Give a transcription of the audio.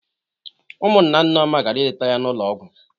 Ụmụnna Nneoma gara ileta ya n'ụlọ ọgwọ.